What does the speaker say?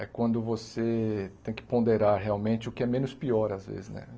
é quando você tem que ponderar realmente o que é menos pior, às vezes né.